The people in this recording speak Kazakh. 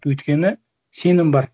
өйткені сенім бар